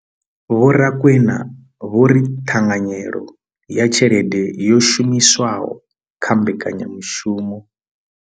Vho Rakwena vho ri ṱhanganyelo ya tshelede yo shumiswaho kha mbekanyamushumo.